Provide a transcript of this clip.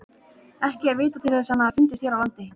Ekki er vitað til þess að hann hafi fundist hér á landi.